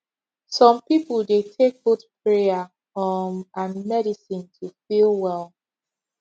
some people dey take both prayer um and medicine to feel well